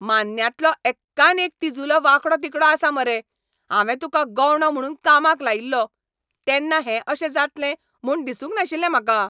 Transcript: मान्न्यांतलो एक्कान एक तिजुलो वांकडो तिकडो आसा मरे! हांवें तुका गवंडो म्हुणून कामाक लायिल्लो तेन्ना हें अशें जातलें म्हूण दिसूंक नाशिल्लें म्हाका.